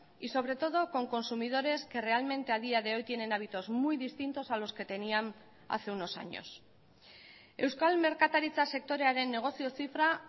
y sobre todo con consumidores que realmente a día de hoy tienen hábitos muy distintos a los que tenían hace unos años euskal merkataritza sektorearen negozio zifra